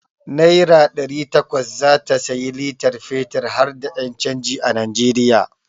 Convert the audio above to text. Naira ɗari takwas zata sayi litar fetir harda ƴan canji a Najeriya.